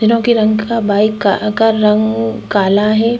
तीनों के रंग बाइक का रंग काला है।